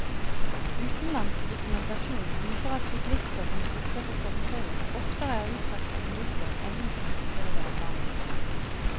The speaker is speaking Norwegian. Utenlandsk dokumentasjon viser at syklister som sykler på fortauet oftere er utsatt for ulykker enn de som sykler i veibanen.